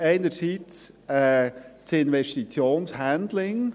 Einer davon ist das Investitions-Handling.